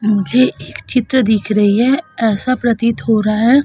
मुझे एक चित्र दिख रही है ऐसा प्रतीत हो रहा है --